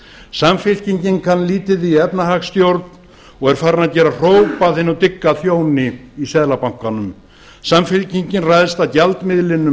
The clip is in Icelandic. samfylkingin kann lítið í efnahagsstjórn og er farin að gera hróp að hinum dygga þjóni í seðlabankanum samfylkingin ræðst að gjaldmiðlinum